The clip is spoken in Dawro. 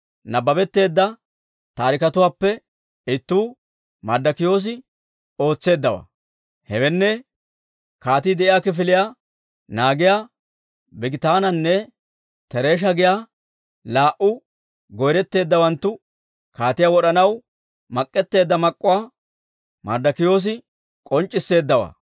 Nabbabetteedda taariketuwaappe ittuu Marddokiyoosi ootseeddawaa; hewenne, kaatii de'iyaa kifiliyaa naagiyaa, Bigitaananne Teresha giyaa laa"u goyretteeddawanttu kaatiyaa wod'anaw mak'k'eteedda mak'k'uwaa Marddokiyoosi k'onc'c'isseeddawaa.